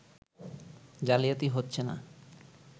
জালিয়াতি হচ্ছে না